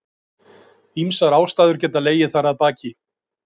Ýmsar ástæður geta legið þar að baki.